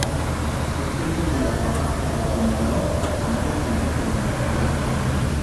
Gũteithagia gwaka ũhoti mwerũ kana gũkũria ũmenyi ũrĩa ũrĩ naguo.